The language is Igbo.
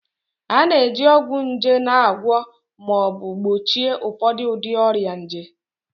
A na-eji ọgwụ nje na-agwọ ma ọ bụ gbochie ụfọdụ ụdị ọrịa nje